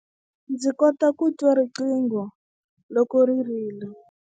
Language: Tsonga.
Ndzi kota ku twa riqingho loko ri rila.